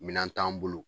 Minan t'an bolo